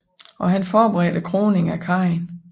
Og han forberedte kroningen af Karin